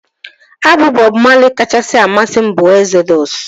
Abọm Bọb Mali kachasị amasị m bụ Ezodụs